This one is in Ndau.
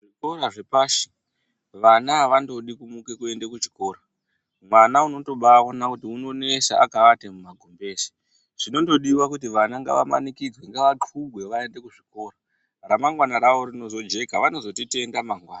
Zvikora zvepashi vana havandodi kumuka kuenda kuchikora. Vana unotobaona kuti unonesa akaate mumagumbeze. Zvinondodiva kuti vana ngamanikidzwe ngatxubwe vaende kuzvikora ramagwana ravo rinozojeka vanozotitenda mangwana.